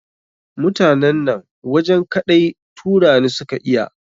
Mutanen nan wajen kaɗai Turani su ka iya.